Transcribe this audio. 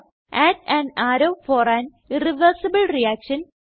add an arrow for an irreversible reaction